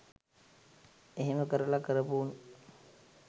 එහෙම කරල කරපු උන්